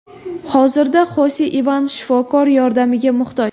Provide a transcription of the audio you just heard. Hozirda Xose Ivan shifokor yordamiga muhtoj.